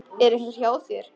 Er einhver hjá þér?